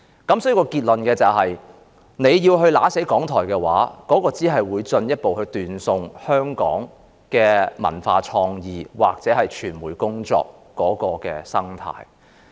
所以，我的結論是，如果弄死了港台，只會進一步斷送香港的文化創意或傳媒工作的生態。